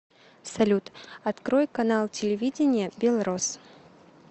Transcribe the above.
салют открой канал телевидения белрос